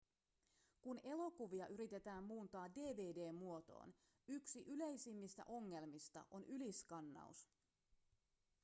kun elokuvia yritetään muuntaa dvd-muotoon yksi yleisimmistä ongelmista on yliskannaus